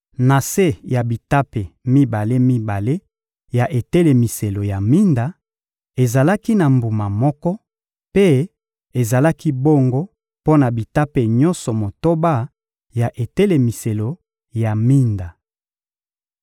Na se ya bitape mibale-mibale ya etelemiselo ya minda, ezalaki na mbuma moko; mpe ezalaki bongo mpo na bitape nyonso motoba ya etelemiselo ya minda.